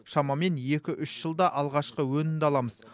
шамамен екі үш жылда алғашқы өнімді аламыз